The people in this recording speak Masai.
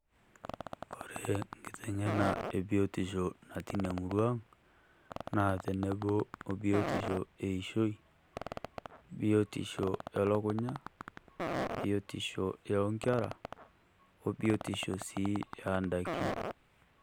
Ore nkiteng'ena e biotisha natii ina murua aang, naa tenebo biotisho eishoi, biotisho elukunya, biotisho onkerra o biotisho sii oondaiki.